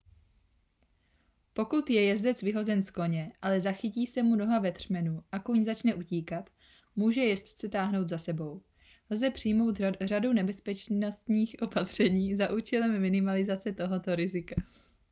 pokud je jezdec vyhozen z koně ale zachytí se mu noha ve třmenu a kůň začne utíkat může jezdce táhnout za sebou lze přijmout řadu bezpečnostních opatření za účelem minimalizace tohoto rizika